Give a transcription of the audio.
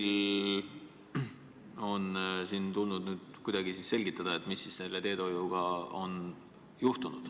Teil on tulnud nüüd kuidagi selgitada, mis selle teedehoiuga on juhtunud.